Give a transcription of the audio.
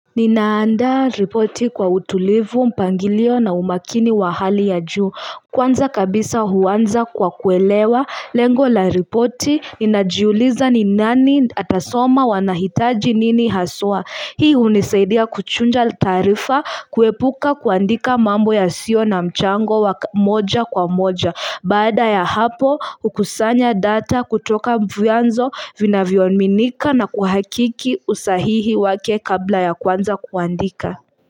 Ninaandaa ripoti kwa utulivu, mpangilio na umakini wa hali ya juu Kwanza kabisa huanza kwa kuelewa Lengo la ripoti, ninajiuliza ni nani atasoma wanahitaji nini haswa Hii hunisaidia kuchuja taarifa kuepuka kuandika mambo ya sio na mchango wa moja kwa moja Baada ya hapo hukusanya data kutoka vyanzo vinavyominika na kuhakiki usahihi wake kabla ya kuanza kuandika.